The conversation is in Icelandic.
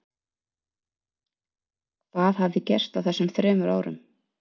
Hvað hafði gerst á þessum þremur árum?